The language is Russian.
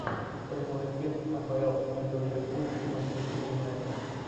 прямой эфир апл между ливерпуль и манчестер юнайтед